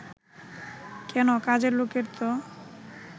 কেন, কাজের লোকের ত